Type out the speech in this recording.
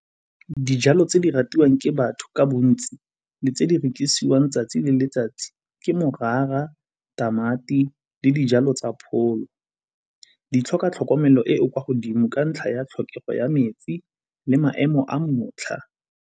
Dijalo tse di ratiwang ke batho ka bontsi le tse di rekisiwang 'tsatsi le letsatsi ke morara, tamati le dijalo tsa pholo. Di tlhoka tlhokomelo e e kwa godimo ka ntlha ya tlhokego ya metsi le maemo a motlha.